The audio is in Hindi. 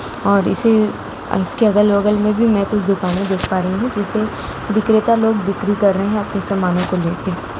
और इसे इसके अलग-बगल में भी मैं कुछ दुकाने देख पा रही हूँ जिसे विक्रेता लोग बिक्री कर रहे हैं अपने सामनों को लेके।